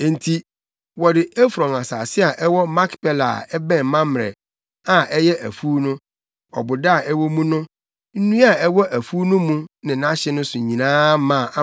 Enti wɔde Efron asase a ɛwɔ Makpela a ɛbɛn Mamrɛ, a ɛyɛ afuw no, ɔboda a ɛwɔ mu no, nnua a ɛwɔ afuw no mu ne nʼahye so nyinaa maa